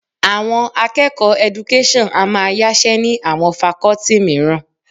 Àwọn akẹ́kọ̀ọ́ Education a máa yáṣẹ́ ni àwọn Fakọ́tì mìíràn